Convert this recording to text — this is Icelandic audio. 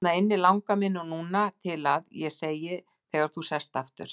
Hérna inni langar mig núna til að., segi ég þegar þú sest aftur.